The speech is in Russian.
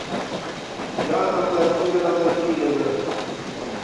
яна владимировна филина